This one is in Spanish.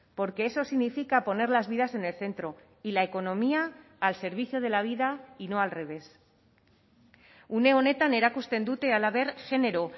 porque eso significa poner las vidas en el centro y la economía al servicio de la vida y no al revés une honetan erakusten dute halaber genero